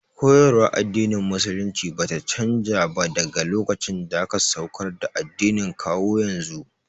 Koyarwar addinin musulunci bata canza ba daga lokacin da aka saukar da addinin kawo yanzu